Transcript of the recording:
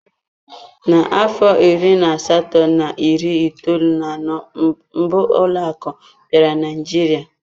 N'afọ iri na asatọ na iri itoolu na anọ mbụ ụlọ akụ bịara Naịjirịa.